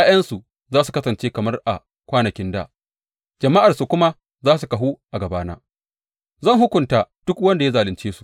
’Ya’yansu za su kasance kamar a kwanakin dā jama’arsu kuma za su kahu a gabana; zan hukunta duk wanda ya zalunce su.